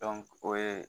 o ye